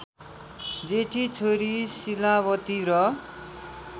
जेठी छोरी शीलावती र